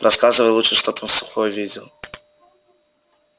рассказывай лучше что там сухой видел